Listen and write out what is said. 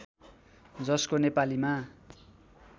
जसको नेपालीमा